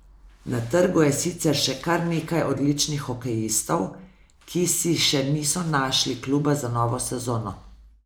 Na trgu je sicer še kar nekaj odličnih hokejistov, ki si še niso našli kluba za novo sezono.